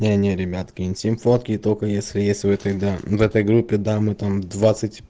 не не ребятки интим фотки только если есть вы тогда в этой группе да мы там двадцать